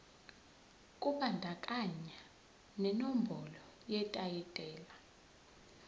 kubandakanya nenombolo yetayitela